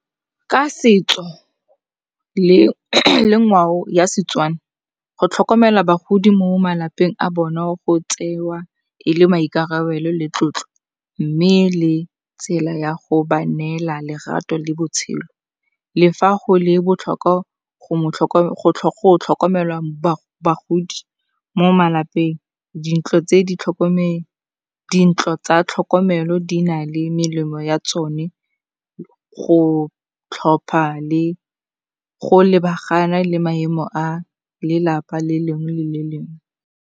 Ka setso le ngwao ya Setswana, go tlhokomela bagodi mo malapeng a bona go tsewa e le maikarabelo le tlotlo mme le tsela ya go ba neela lerato le botshelo. Le fa go le botlhokwa go tlhokomela bagodi mo malapeng, dintlo tsa tlhokomelo di na le melemo ya tsone go tlhopha le go lebagana le maemo a lelapa le lengwe le le lengwe.